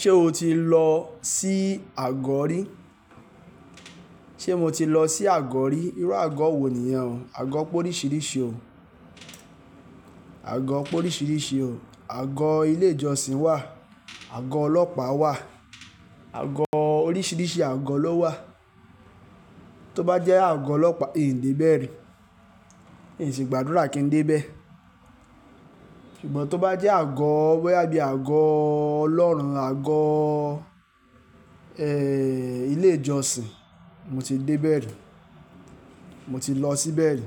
Ṣé o ti lọ sí àgọ́ rí? Ṣé mo ti lọ sí àgọ́ rí? Irú àgọ́ wo nìyẹn? Àgọ́ póríṣiríṣi o. Àgọ́ póníṣiríṣi o. Àgọ́ ilé ìjọsìn wà, àgọ́ ọlọ́pàá wà, àgọ́ oríṣiríṣi àgọ́ ló wà. Tó bá jẹ́ àgọ́ ọlọ́pàá, miò dé bẹ́ẹ̀ rí, n sì ń gbàdúrà kí n dé bẹ́ẹ̀. Ṣùgbọ́n tó bá jẹ́ àgọ́ boyà bí i àgọ́ Ọlọ́run, àgọ́ ilé ìjọsìn, mo ti dé bẹ́ẹ̀ rí, mo ti lọ sí bẹ́ẹ̀ rí.